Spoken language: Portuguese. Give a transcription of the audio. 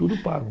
Tudo pago.